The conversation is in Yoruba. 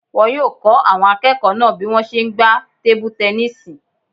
Wọn yóò kọ́ àwọn akẹ́kọ̀ọ́ náà bí wọ́n ṣe n gbá tebu-tẹnísì